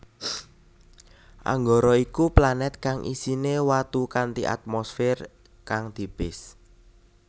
Anggara iku planèt kang isiné watu kanthi atmosfér kang tipis